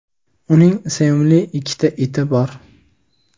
uning sevimli ikkita iti bor.